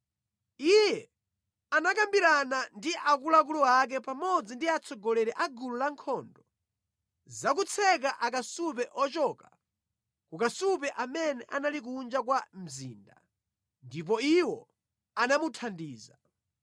iye anakambirana ndi akuluakulu ake pamodzi ndi atsogoleri a gulu lankhondo za kutseka akasupe ochoka ku kasupe amene anali kunja kwa mzinda, ndipo iwo anamuthandiza.